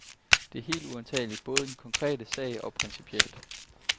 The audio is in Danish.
Det er helt uantageligt, både i den konkrete sag og principielt.